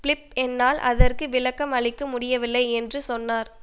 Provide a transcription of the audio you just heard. Philip என்னால் அதற்கு விளக்கம் அளிக்க முடியவில்லை என சொன்னார்